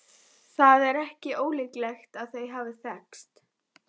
Það er ekki ólíklegt að þau hafi þekkst.